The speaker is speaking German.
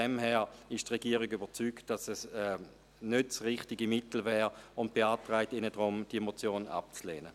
Insofern ist die Regierung überzeugt, dass es nicht das richtige Mittel wäre, und beantragt Ihnen deshalb, diese Motion abzulehnen.